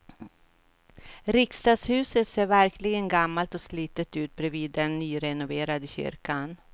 Riksdagshuset ser verkligen gammalt och slitet ut bredvid den nyrenoverade kyrkan.